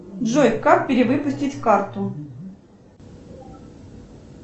джой как перевыпустить карту